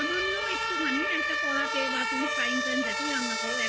সামান্য একটুখানি করাতে বা frypan যেটাতে তুমি রান্না করো